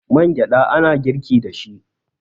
man gyada ana girki da shi